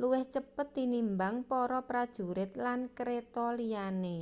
luwih cepet tinimbang para prajurit lan kreta liyane